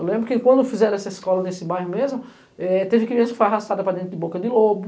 Eu lembro que quando fizeram essa escola nesse bairro mesmo, é teve criança que foi arrastada para dentro de boca de lobo...